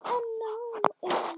Er hann Bjössi heima?